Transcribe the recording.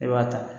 E b'a ta